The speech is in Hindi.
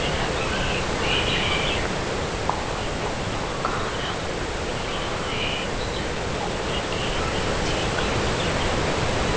रखे हुए हैं और फूलों का रंग पीला है फूल के नीचे का रंग --